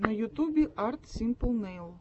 на ютубе арт симпл нэйл